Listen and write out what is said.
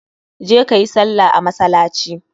Je kayi sallah a masalaci!